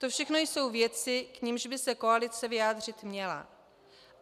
To všechno jsou věci, k nimž by se koalice vyjádřit měla.